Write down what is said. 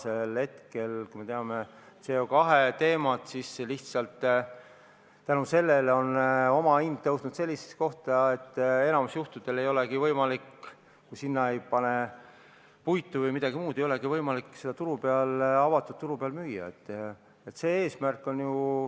Aga praegu me teame CO2 teemat, me teame, et omahind on tõusnud nii kõrgele, et enamikul juhtudel ei olegi võimalik, kui ei pane juurde puitu või midagi muud, elektrit avatud turul müüa.